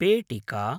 पेटिका